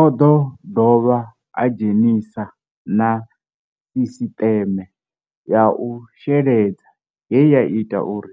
O ḓo dovha a dzhenisa na sisiṱeme ya u sheledza ye ya ita uri